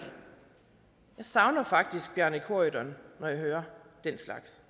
jeg savner faktisk bjarne corydon når jeg hører den slags